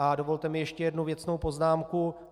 A dovolte mi ještě jednu věcnou poznámku.